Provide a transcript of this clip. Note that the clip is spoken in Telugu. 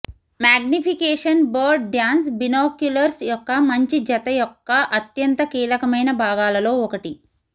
మాగ్నిఫికేషన్ బర్డ్ డ్యాన్స్ బినోక్యులర్స్ యొక్క మంచి జత యొక్క అత్యంత కీలకమైన భాగాలలో ఒకటి